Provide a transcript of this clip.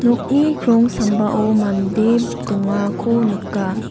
nokni krong sambao mande dongako nika.